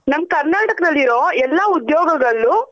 ನಮ್ ಕರ್ನಾಟಕ ದಲ್ಲಿರೋ ಎಲ್ಲ ಉದ್ಯೋಗಗಳು.